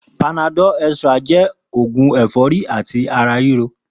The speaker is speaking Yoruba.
Pànádọ̀lú ẹ̀trá jẹ́ ógún ẹ̀fọ̀rí àtí àrá rìró